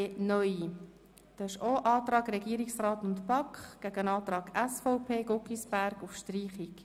Wer den Antrag Regierungsrat/BaK annehmen will, stimmt Ja,